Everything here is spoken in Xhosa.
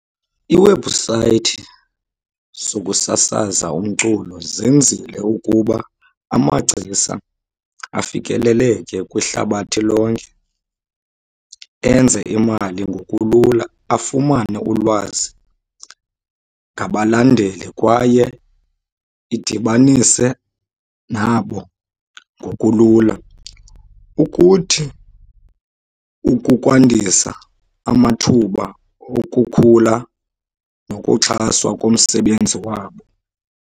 Iiwebhusayithi zokusasaza umculo zenzile ukuba amagcisa afikeleleke kwihlabathi lonke, enze imali ngokulula, afumane ulwazi ngabalandeli kwaye idibanise nabo ngokulula. Ukuthi ukukwandisa amathuba okukhula nokuxhaswa komsebenzi wabo.